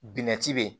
Bina ci be yen